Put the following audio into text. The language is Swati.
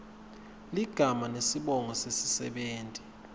ligama nesibongo sesisebenti